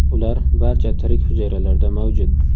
Ular barcha tirik hujayralarda mavjud.